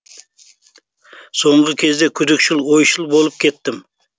соңғы кезде күдікшіл ойшыл болып кеттім